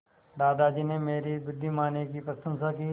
दादाजी ने मेरी बुद्धिमानी की प्रशंसा की